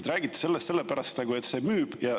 Te räägite sellist juttu sellepärast, et see müüb.